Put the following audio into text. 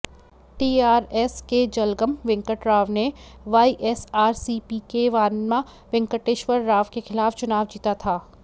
TRS के जलगम वेंकटराव ने YSRCP के वानमा वेंकटेश्वर राव के खिलाफ चुनाव जीता था